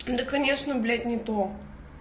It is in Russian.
да конечно блять не то